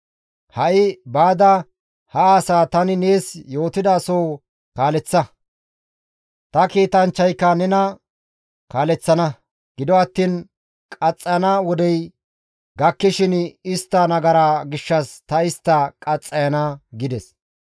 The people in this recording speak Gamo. Ha7i baada ha asaa tani nees yootida soo kaaleththa; ta kiitanchchayka nena kaaleththana; gido attiin qaxxayana wodey gakkishin istta nagaraa gishshas ta istta qaxxayana» gides.